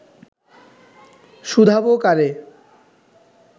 শুধাবো কারে